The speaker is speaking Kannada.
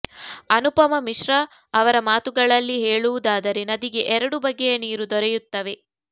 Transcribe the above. ಅನುಪಮ ಮಿಶ್ರ ಅವರ ಮಾತುಗಳಲ್ಲಿ ಹೇಳುವುದಾದರೆ ನದಿಗೆ ಎರಡು ಬಗೆಯ ನೀರು ದೊರೆಯುತ್ತವೆ